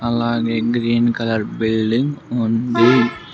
అలాగే green colour building ఉంది .